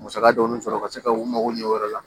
Musaka dɔɔni sɔrɔ ka se ka u mago ɲɛ o yɔrɔ la